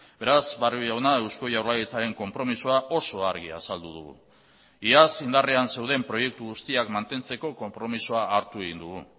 beraz barrio jauna eusko jaurlaritzaren konpromisoa oso argi azaldu dugu iaz indarrean zeuden proiektu guztiak mantentzeko konpromisoa hartu egin dugu